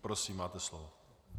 Prosím, máte slovo.